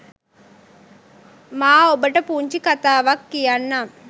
මා ඔබට පුංචි කථාවක් කියන්නම්